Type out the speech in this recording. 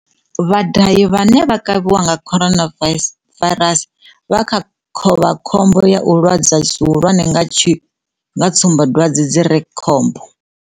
Vhadahi vhane vha kavhiwa nga coronavairasi COVID-19 vha kha khovhakhombo ya u lwadzwa zwihulwane nga tsumbadwadze dzi re khombo.